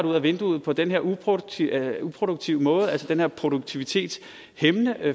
ud af vinduet på den her uproduktive uproduktive måde altså den her produktivitetshæmmende